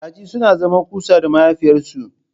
Kaji suna zama kusa da mahaifiyarsu.